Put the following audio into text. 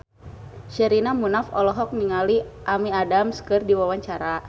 Sherina Munaf olohok ningali Amy Adams keur diwawancara